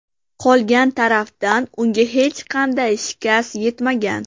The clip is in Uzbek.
Qolgan tarafdan unga hech qanday shikast yetmagan.